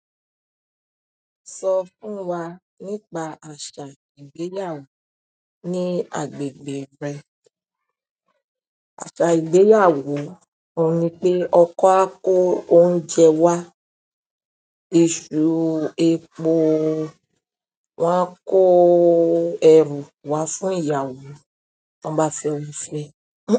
Sọ fún wa nípa àṣà ìgbéyàwó ní agbègbè rẹ. Àṣà ìgbéyàwó, óun ní pé ọkọ á kó oúnjẹ wá, iṣu, epo, wọ́n á kó ẹrù wá fún ìyàwó, wọn bá fẹ́ fe.